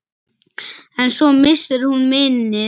En svo missir hún minnið.